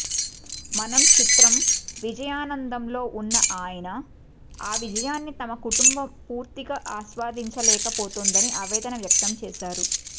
మనం చిత్రం విజయానందంలో ఉన్న ఆయన ఆ విజయాన్ని తమ కుటుంబం పూర్తిగా ఆస్వాదించలేకపోతోందని ఆవేదన వ్యక్తం చేశారు